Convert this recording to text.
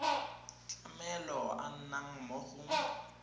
tlamelo a nnang mo go